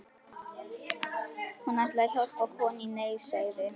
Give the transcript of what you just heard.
Hún ætlaði að hjálpa konu í neyð, sagði